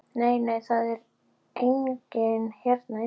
Nei, nei, það er enginn hérna inni.